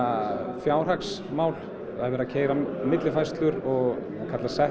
fjárhagsmál það er verið að keyra millifærslur